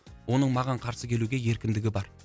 оның маған қарсы келуге еркіндігі бар